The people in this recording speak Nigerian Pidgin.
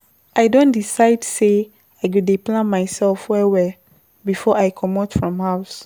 I don decide sey I go dey plan mysef well-well before I comot from house.